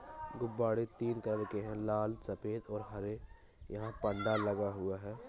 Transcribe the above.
गुब्बारे तीन कलर के है | लाल सफेद और हरे यहाँ पर्दा लगा हूआ हैं।